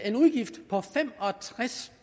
en udgift på fem og tres